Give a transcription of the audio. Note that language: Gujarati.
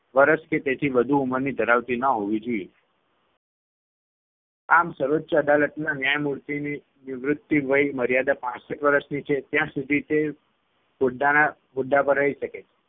વર્ષ કે તેથી વધુ ઉંમરની ધરાવતી ન હોવી જોઈએ આમ સર્વોચ્ય અદાલતના ન્યાયમૂર્તિની નિવૃત્તિ વયમર્યાદા પાંસઠ વર્ષની છે ત્યાં સુધી તે હોદ્દાના હોદ્દા પર રહી શકે છે